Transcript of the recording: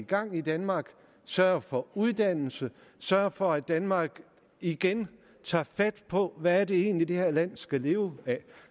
gang i danmark sørger for uddannelse sørger for i danmark igen tager fat på hvad det egentlig er det her land skal leve af